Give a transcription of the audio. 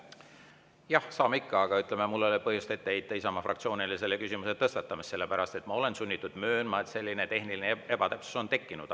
Jah, saame ikka, aga mul ei ole põhjust ette heita Isamaa fraktsioonile selle küsimuse tõstatamist, sellepärast et ma olen sunnitud möönma, et selline tehniline ebatäpsus on tekkinud.